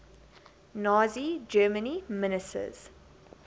nazi germany ministers